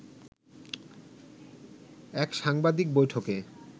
এক সাংবাদিক বৈঠকে